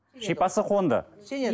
шипасы қонды